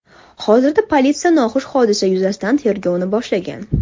Hozirda politsiya noxush hodisa yuzasidan tergovni boshlagan.